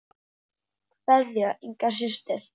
Kveðja, Inga systir.